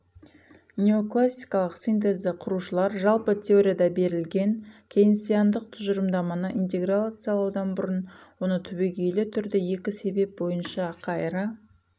неоклассикалық синтезді құрушылар жалпы теорияда берілген кейнсиандық тұжырымдаманы интеграциялаудан бұрын оны түбегейлі түрде екі себеп бойынша қайыра